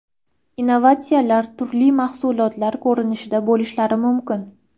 Innovatsiyalar turli mahsulotlar ko‘rinishida bo‘lishlari mumkin.